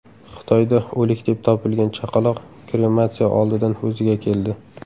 Xitoyda o‘lik deb topilgan chaqaloq krematsiya oldidan o‘ziga keldi.